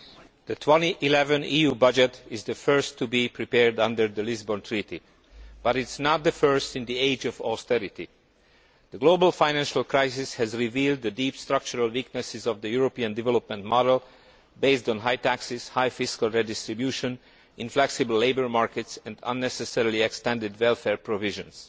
Mr President, the 2011 EU budget is the first to be prepared under the Lisbon Treaty, but it is not the first in the age of austerity. The global financial crisis has revealed the deep structural weaknesses of the European development model, based on high taxes, high fiscal redistribution, inflexible labour markets and unnecessarily extended welfare provisions.